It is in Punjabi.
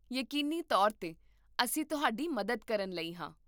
ਯਕੀਨੀ ਤੌਰ 'ਤੇ! ਅਸੀਂ ਤੁਹਾਡੀ ਮਦਦ ਕਰਨ ਲਈ ਹਾਂ